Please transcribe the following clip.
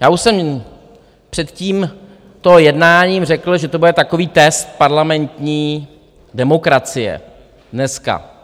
Já už jsem před tímto jednáním řekl, že to bude takový test parlamentní demokracie dneska.